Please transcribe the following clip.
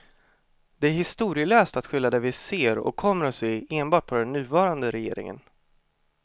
Det är historielöst att skylla det vi ser och kommer att se enbart på den nuvarande regeringen.